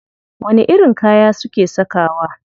Wani irin kaya suke sakawa?